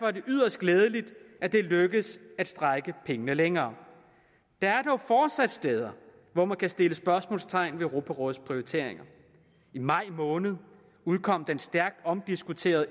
er det yderst glædeligt at det er lykkedes at strække pengene længere der er dog fortsat steder hvor man kan sætte spørgsmålstegn ved europarådets prioriteringer i maj måned udkom den stærkt omdiskuterede